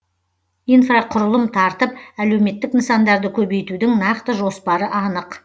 инфрақұрылым тартып әлеуметтік нысандарды көбейтудің нақты жоспары анық